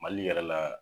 Mali yɛrɛ la